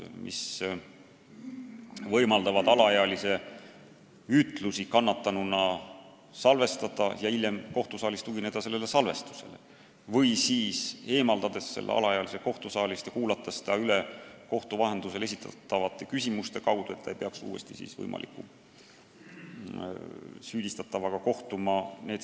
On võimalik alaealise kannatanu ütlusi salvestada ja hiljem kohtusaalis tugineda sellele salvestisele või siis eemaldada alaealine kohtusaalist ja kuulata ta üle kohtu vahendusel esitatavate küsimuste abil, et ta ei peaks uuesti süüdistatavaga kohtuma.